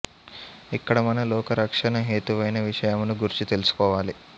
ఇక్కడ మనం ఆ లోక రక్షణ హేతువైన విషయమును గూర్చి తెలుసుకోవాలి